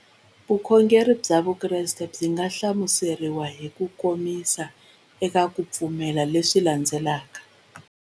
Vukhongeri bya Vukreste byi nga hlamuseriwa hi kukomisa eka ku pfumela leswi landzelaka.